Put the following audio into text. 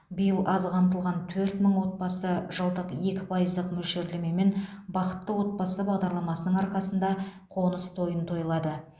биыл аз қамтылған төрт мың отбасы жылдық екі пайыздық мөлшерлемемен бақытты отбасы бағдарламасының арқасында қоныс тойын тойлады